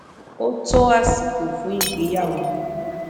o to asiko fun igbeyawo